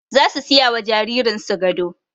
Zasu siyawa jaririn su gado